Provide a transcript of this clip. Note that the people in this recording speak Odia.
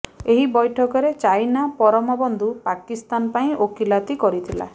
ଏହି ବୈଠକରେ ଚାଇନା ପରମ ବନ୍ଧୁ ପାକିସ୍ତାନ ପାଇଁ ଓକିଲାତି କରିଥିଲା